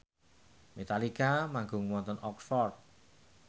Metallica manggung wonten Oxford